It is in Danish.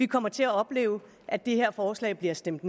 kommer til at opleve at det her forslag bliver stemt